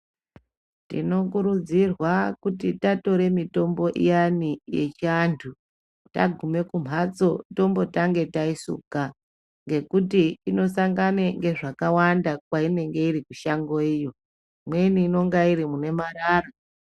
Tinokurudzirwa kuti tatore mitombo iyani yechiantu tagume kumhatso tombotange taisuka ngekuti inosangane ngezvakawanda kwainenge iri kushango iyo. Imweni inonga iri mune marara.